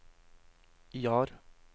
Jar